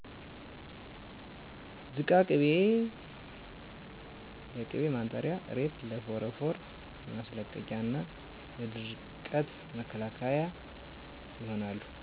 ዝቃ ቅቤ ለቅቤ ማንጠሪያ እሬት ለፎረፎር ማስለቀቂያና ለድርቀት መከላከያ ይሆናሉ